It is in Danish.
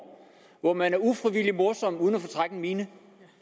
hvor man er ufrivillig morsom uden at fortrække en mine